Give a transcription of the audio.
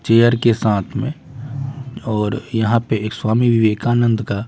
chair के साथ में और यहां पे एक स्वामी विवेकानंद का--